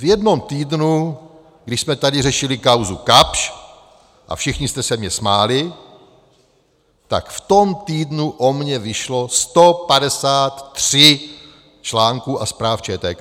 V jednom týdnu, když jsme tady řešili kauzu Kapsch a všichni jste se mi smáli, tak v tom týdnu o mně vyšlo 153 článků a zpráv ČTK.